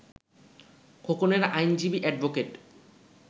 খোকনের আইনজীবী অ্যাডভোকেট